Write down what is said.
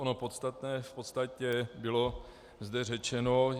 Ono podstatné v podstatě bylo zde řečeno.